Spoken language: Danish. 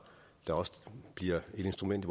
der også bliver et instrument